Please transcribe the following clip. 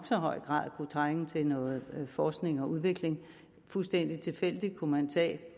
så høj grad kunne trænge til noget forskning og udvikling fuldstændig tilfældigt kunne man tage